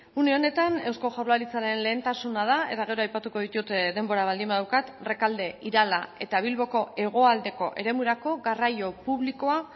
une honetan eusko jaurlaritzaren lehentasuna da eta gero aipatuko ditut denbora baldin badaukat rekalde irala eta bilboko hegoaldeko eremurako garraio publikoa